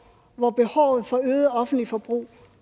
hvor behovet for øget offentligt forbrug